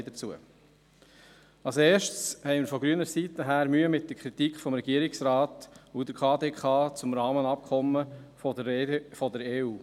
Als Erstes haben wir von grüner Seite Mühe mit der Kritik des Regierungsrates und der KdK zum Rahmenabkommen der EU.